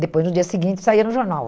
Depois, no dia seguinte, saía no jornal.